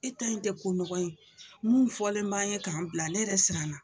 E ta in tɛ ko nɔgɔn ye, mun fɔlen b'an ye k'an bila ne yɛrɛ siranna.